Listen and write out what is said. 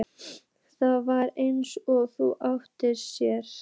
Það var eins og það átti að sér.